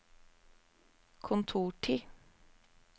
kontortid